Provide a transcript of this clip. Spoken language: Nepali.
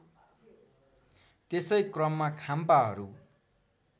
त्यसै क्रममा खाम्पाहरू